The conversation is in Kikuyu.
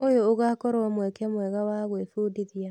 ũyũ ũgakorwo mweke mwega wa gwĩbundithia.